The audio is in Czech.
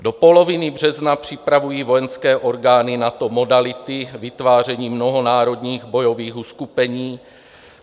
Do poloviny března připravují vojenské orgány NATO modality vytvářením mnohonárodních bojových uskupení.